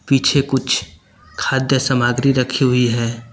पीछे कुछ खाद्य सामग्री रखी हुई है।